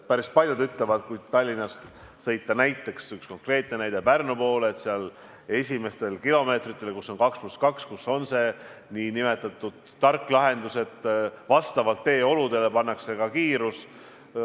Päris paljud ütlevad, et kui Tallinnast sõita – see on üks konkreetne näide – Pärnu poole, siis seal esimestel kilomeetritel, kus on 2 + 2 tee, on see nn tark lahendus, et vastavalt teeoludele määratakse lubatud kiirus.